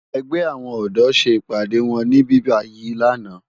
Ègbè áwòn òdò sé ipàdé wòn nìbíbàyí làná